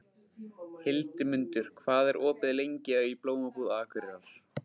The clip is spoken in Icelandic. Hildimundur, hvað er opið lengi í Blómabúð Akureyrar?